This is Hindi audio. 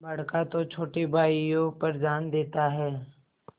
बड़का तो छोटे भाइयों पर जान देता हैं